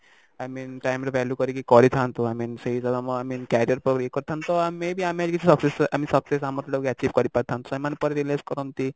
i mean time ର value କରିକି କରିଥାନ୍ତୁ i mean ସେଇ Career କୁ ଇଏ କରିଥାନ୍ତୁ ତ may be ଆମେ କିଛି success ଆମ success ଆମର ଯୋଉଟାକୁ achieve କରି ପାରିଥାନ୍ତୁ ସେମାନେ ପରେ realise କରନ୍ତି